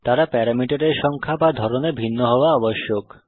তারা প্যারামিটারের সংখ্যা বা ধরনে ভিন্ন হওয়া আবশ্যক